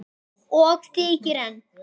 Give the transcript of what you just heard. Og þykir enn.